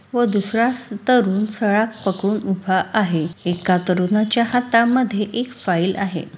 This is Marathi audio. व दूसरा तरुण सळाख पकडून उभा आहे एका तरुणाच्या हातामध्ये एक फाइल आहे.